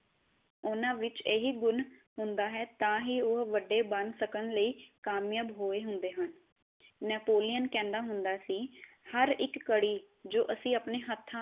ਓਹਨਾ ਵਿਚ ਇਹੀਗੁਣ ਹੁੰਦਾ ਹੈ ਤਾਂ ਹੀ ਉਹ ਵੱਡੇ ਬਣ ਸਕਣ ਲਈ ਕਾਮਯਾਬ ਹੋਏ ਹੁੰਦੇ ਹਨ ਨੇਪੋਲੀਅਨ ਕਹਿੰਦਾ ਹੁੰਦਾ ਸੀ ਹਰ ਇਕ ਘੜੀ ਜੋ ਅਸੀਂ ਆਪਣੇ ਹਥਾ